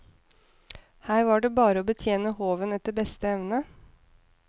Her var det bare å betjene håven etter beste evne.